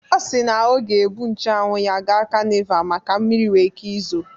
Ọ siri na ọ ga-ebu nche anwụ ya gaa kanival maka na mmiri nwere ike izo